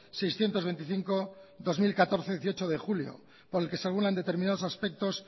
seiscientos veinticinco barra dos mil catorce de dieciocho de julio por el que se regulan determinados aspectos